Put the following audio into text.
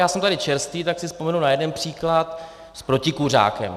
Já jsem tady čerstvý, tak si vzpomenu na jeden příklad - s protikuřákem.